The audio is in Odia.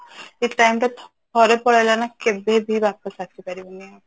ଯୋଉ time ଟା ଥରେ ପଳେଇଲା ନା କେବେ ବି ୱାପସ ଆସି ପାରିବନି